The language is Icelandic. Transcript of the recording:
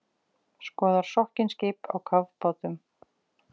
Skoðar sokkin skip á kafbátum